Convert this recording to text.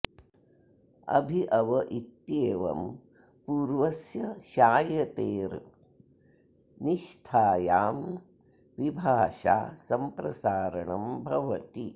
अभि अव इत्येवं पूर्वस्य श्यायतेर् निष्थायां विभाषा सम्प्रसारणम् भवति